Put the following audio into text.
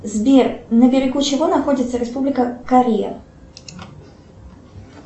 сбер на берегу чего находится республика корея